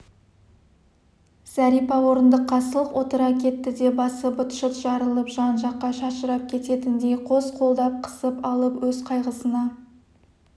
зәрипа орындыққа сылқ отыра кетті де басы быт-шыт жарылып жан-жаққа шашырап кететіндей қос қолдап қысып алып өз қайғысына